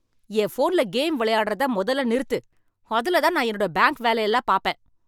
என் ஃபோன்ல கேம் விளையாடுறத மொதல்ல நிறுத்து. அதுல தான் நான் என்னோட பேங்க் வேலை எல்லாம் பாப்பேன்.